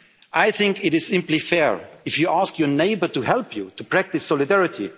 internal reforms. I think it is simply fair, if you ask your neighbour to help you, to practise